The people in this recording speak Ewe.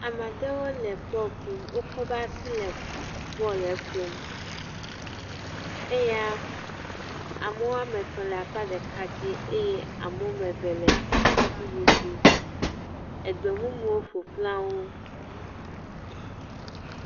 Ama ɖewo le bɔlu ƒom. Wokɔ woƒe asi le bɔlɛ ƒom. Eya ame woame tɔ̃ le akpa ɖeka dzi eye ame woame ve le akpa bubu dzi. Egbemumuwo ƒo xlã wo.